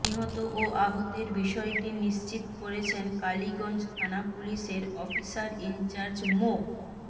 নিহত ও আহতের বিষয়টি নিশ্চিত করেছেন কালীগঞ্জ থানা পুলিশের অফিসার ইনচার্জ মো